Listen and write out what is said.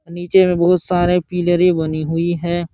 नीचे में बहुत सारे पीलरी बनी हुई है।